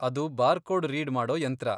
ಅದು barcode read ಮಾಡೋ ಯಂತ್ರ.